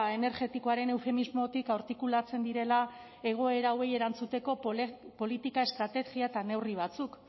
energetikoaren eufemismotik artikulatzen direla egoera hauei erantzuteko politika estrategia eta neurri batzuk